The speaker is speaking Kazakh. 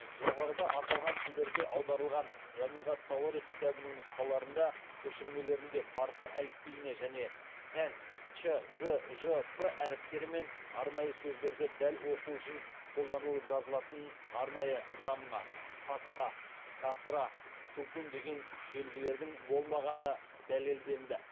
жоғарыда аталған тілдерге аударылған жамиғ ат тауарих кітабының нұсқаларында парсы әліпбиіне және тән ч г ж п әріптері мен арнайы сөздерді дәл оқу үшін қолданылып жазылатын арнайы замма фатха касра сүкун деген белгілердің болмағаны дәлелденді